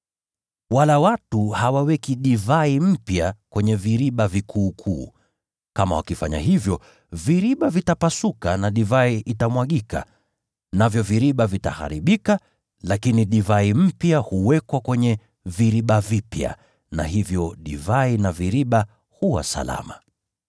Wala watu hawaweki divai mpya kwenye viriba vikuukuu. Kama wakifanya hivyo, viriba vitapasuka nayo divai itamwagika, navyo viriba vitaharibika. Lakini divai mpya huwekwa kwenye viriba vipya, na hivyo divai na viriba huwa salama.”